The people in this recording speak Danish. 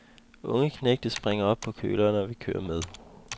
Unge knægte springer op på køleren og vil køre med.